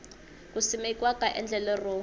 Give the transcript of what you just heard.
ku simekiwa ka endlelo ro